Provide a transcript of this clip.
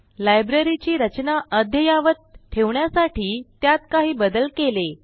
library ची रचना अद्ययावत ठेवण्यासाठी त्यात काही बदल केले